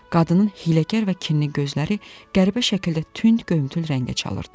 Qadının hiyləgər və kinli gözləri qəribə şəkildə tünd göyümtül rəngə çalırdı.